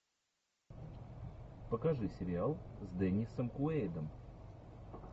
покажи сериал с деннисом куэйдом